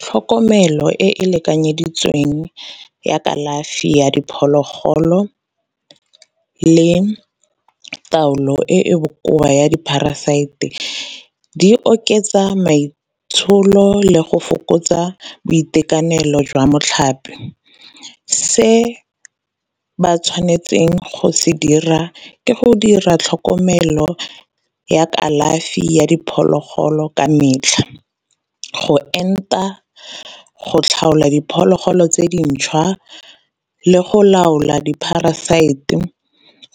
Tlhokomelo e e lekanyeditsweng ya kalafi ya diphologolo le taolo e e bokoa ya di-parasite di oketsa maitsholo le go fokotsa boitekanelo jwa motlhape. Se ba tshwanetseng go se dira ke go dira tlhokomelo ya kalafi ya diphologolo ka metlha. Go enta, go tlhaola diphologolo tse dintšhwa, le go laola di-parasite